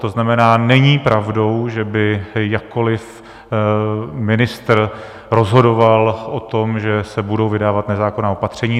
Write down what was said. To znamená, není pravdou, že by jakkoli ministr rozhodoval o tom, že se budou vydávat nezákonná opatření.